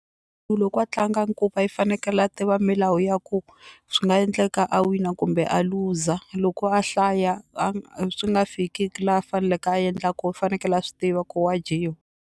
Ku loko a tlanga i fanekele a tiva milawu ya ku swi nga endleka a wina kumbe a luza loko a hlaya swi nga fiki la a faneleke a endla ko u fanekele a swi tiva ku wa dyiwa.